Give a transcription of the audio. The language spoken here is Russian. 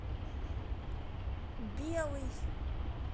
белый